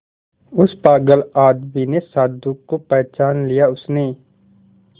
उस पागल आदमी ने साधु को पहचान लिया उसने